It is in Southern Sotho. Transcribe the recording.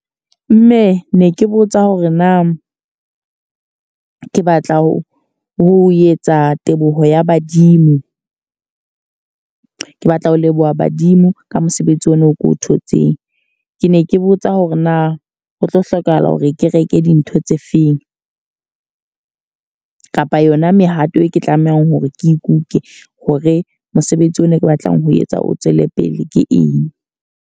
Mme ne ke botsa hore na ke batla ho etsa teboho ya badimo. Ke batla ho leboha badimo ka mosebetsi ona o ko o thotseng. Ke ne ke botsa hore na ho tlo hlokahala hore ke reke dintho tse feng? Kapa yona mehato e ke tlamehang hore ke ikuke hore mosebetsi ona ke batlang ho etsa o tswele pele ke eng?